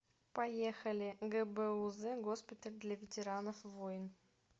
поехали гбуз госпиталь для ветеранов войн